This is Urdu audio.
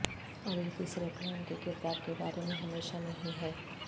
اور یہ تیسرے پلان کے کردار کے بارے میں ہمیشہ نہیں ہے